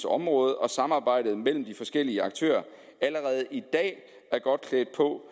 område og samarbejdet mellem de forskellige aktører allerede i dag er godt klædt på